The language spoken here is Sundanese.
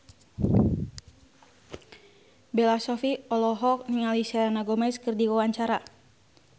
Bella Shofie olohok ningali Selena Gomez keur diwawancara